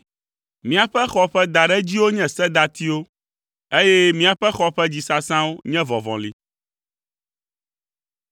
Míaƒe xɔ ƒe daɖedziwo nye sedatiwo, eye míaƒe xɔ ƒe dzisasãwo nye vɔvɔli.